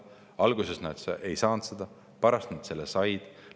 Alguses nad seda võimalust ei saanud seda, pärast said.